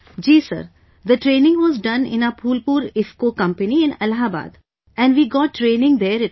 Ji Sir, the training was done in our Phulpur IFFCO company in Allahabad... and we got training there itself